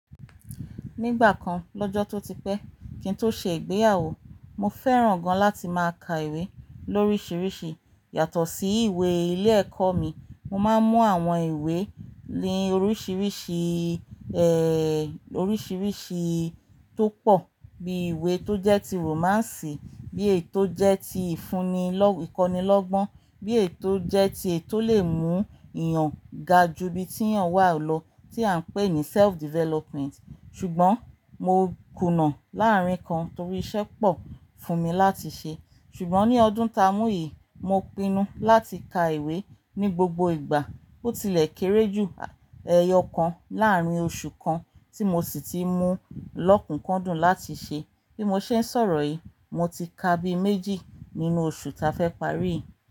Nígbà kan lọ́jọ́ tó ti pẹ́ kí n tó ṣe ìgbéyàwó, mo fẹ́ràn gan láti máa ka ìwé lóríṣiríṣi. Yàtọ̀ sí ìwé ilé ẹ̀kọ́ mi. Mo máa ń mú àwọn ìwé lé oríṣiríṣi, ehh, oríṣiríṣi tó pọ̀ bíi ìwé tó jẹ́ ti romance, bí èyi tó jẹ́ ti ìfúnni lọ́-- ìkọ́nilọ́gbọ́n, bí èyi tó jẹ́ ti eyi tó lè mú èèyàn ga ju ibi tí èèyàn wà lọ, tí à ń pè ní self-development. Ṣùgbọ́n mo kùnà láàárín kan torí iṣẹ́ pọ̀ fún mi láti ṣe. Ṣùgbọ́n ní ọdún ta mú yìí, mo pinnu láti ka ìwé ní gbogbo ìgbà. Ó tilẹ̀ kéré jù ẹyọ kan láàrin oṣù kan tí mo sì ti mú lọ́kùkúndùn láti ṣe. Bí mo ṣe ń sọ̀rọ̀ yìí, mo ti ka bí méjì nínú oṣù ta fẹ́ parí.